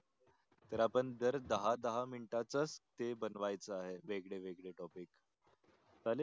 तर आपण दर दहा दहा मिनीट च STAY बनवायच आहे वेगळे वेगळे topic चालेल